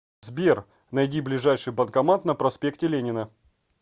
сбер найди ближайший банкомат на проспекте ленина